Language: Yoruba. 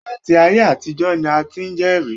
Láti ayé àtijọ́ ni a ti ń jẹ́rìí